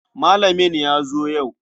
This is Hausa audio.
Malamin ya zo yau.